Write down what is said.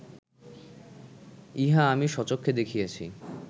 ইহা আমি স্বচক্ষে দেখিয়াছি